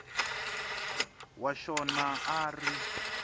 wa xona a a ri